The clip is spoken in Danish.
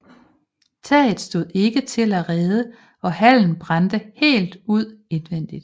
Taget stod ikke til at redde og hallen brændte helt ud indvendig